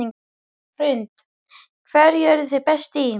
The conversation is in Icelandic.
Hrund: Hverju eruð þið best í?